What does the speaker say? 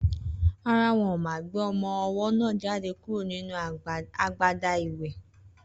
Rárá, wọn ma gbé ọmọ owó náà jáde kúrò nínú agbada ìwè